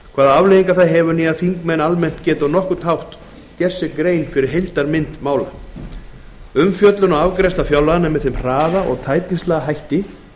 hvaða afleiðingar það hefur og þingmenn geta almennt ekki á nokkurn hátt gert sér grein fyrir heildarmynd mála umfjöllun og afgreiðsla fjárlaganna er með þeim hraða og tætingslega hætti